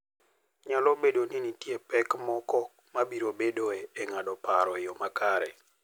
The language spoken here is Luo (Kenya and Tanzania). Nyalo bedo ni nitie pek moko ma biro bedoe e ng'ado paro e yo makare.